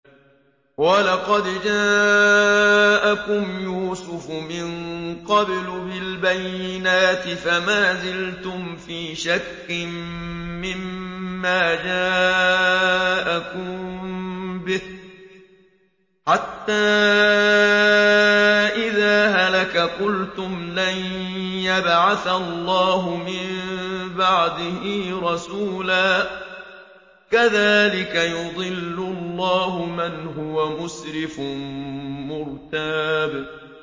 وَلَقَدْ جَاءَكُمْ يُوسُفُ مِن قَبْلُ بِالْبَيِّنَاتِ فَمَا زِلْتُمْ فِي شَكٍّ مِّمَّا جَاءَكُم بِهِ ۖ حَتَّىٰ إِذَا هَلَكَ قُلْتُمْ لَن يَبْعَثَ اللَّهُ مِن بَعْدِهِ رَسُولًا ۚ كَذَٰلِكَ يُضِلُّ اللَّهُ مَنْ هُوَ مُسْرِفٌ مُّرْتَابٌ